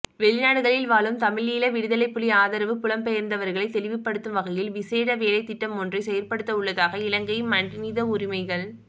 வெளிநாடுகளில் வாழும் தமிழீழ விடுதலைப்புலி ஆதரவு புலம்பெயர்ந்தவர்களை தெளிவுபடுத்தும் வகையில் விசேட வேலைத்திட்டம் ஒன்றை செயற்படுத்தவுள்ளதாக இலங்கை மனிதவுரிமைகள்